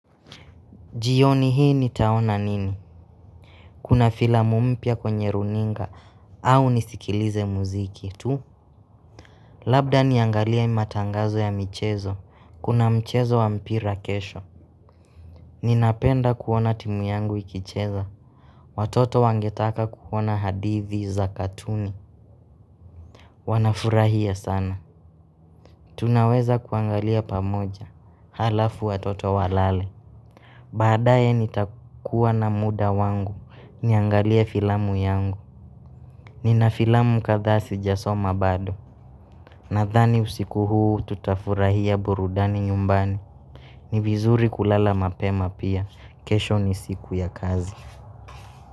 Jioni hii nitaona nini? Kuna filamu mpya kwenye runinga au nisikilize muziki. Tu? Labda niangalia matangazo ya michezo. Kuna mchezo wa mpira kesho. Ninapenda kuona timu yangu ikicheza. Watoto wangetaka kuona hadithi za katuni. Wanafurahia sana. Tunaweza kuangalia pamoja. Alafu wa toto walale. Baadaye nitakuwa na muda wangu. Niangalia filamu yangu. Nina filamu kathaa si jasoma bado Nathani usiku huu tutafurahia burudani nyumbani Nivizuri kulala mapema pia kesho ni siku ya kazi.